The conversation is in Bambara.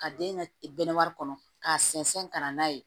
Ka den ka bɛnnɛ kɔnɔ k'a sɛnsɛn ka na n'a ye